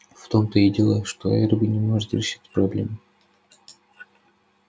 в том-то и дело что эрби не может решить проблему